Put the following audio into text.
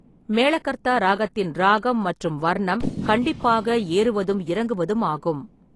மேலகத்தா ராகத்தின் ரானம் மற்றும் வர்ணம் கண்டிப்பாக ஏறுவதும் இறங்குவதும் ஆகும்.